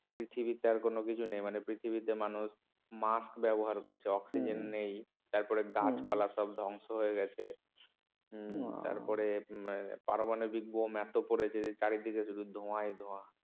পৃথিবীতে আর কোন কিছু নেই মানে পৃথিবীতে মানুষ mask ব্যবহার করছে oxygen নেই তারপরে গাছপালা সব ধ্বংস হয়ে গেছে হ্যাঁ তারপরে পারমানবিক bomb এত পড়েছে যে চারিদিকে শুধু ধোয়ায় ধোয়া